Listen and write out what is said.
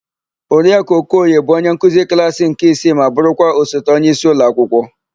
Oriakụ Okoye bụ onyenkuzi klaasỊ nke isii ma bụrụkwa osote onyeisi ụlọakwụkwọ.